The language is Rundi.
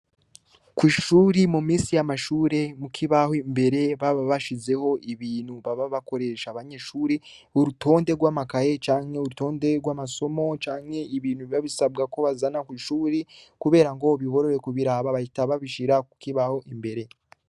Kwishuri muminsi y'amashure ,kukibaho imbere baba bashizeho ibintu baba bakoresha abanyeshuri, urutonde rw'amakaye ,canke urutonde rw'amasomo ,canke ibintu biba bisabwa ko bazana kw'ishuri, kubera ngo biborohere bahita babishira kukibaho imbere.